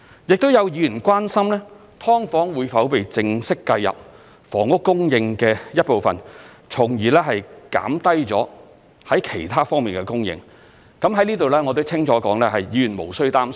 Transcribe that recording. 亦有議員關心"劏房"會否被正式計入房屋供應的一部分，從而減低了在其他方面的供應，在此我可以清楚地說，議員無須擔心。